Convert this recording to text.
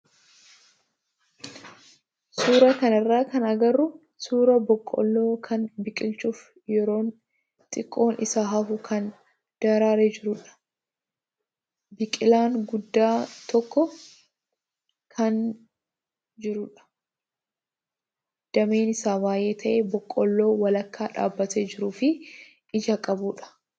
Suuraa kanarraa kan agarru suuraa boqqoolloo kan bilchaachuuf yeroon xiqqoon isa hafu kan daraaree jirudha. Biqilaan guddaa tokko kan dameen isaa baay'ee ta'e boqqoolloo walakkaa dhaabbatee jiruu fi ija qabudha.